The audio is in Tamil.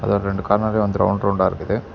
இதுல ரெண்டு கண்ணாடி வந்து ரவுண்ட் ரவுண்டா இருக்குது.